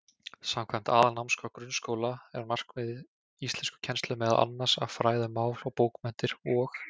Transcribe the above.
Samkvæmt Aðalnámskrá grunnskóla er markmið íslenskukennslu meðal annars að fræða um mál og bókmenntir og.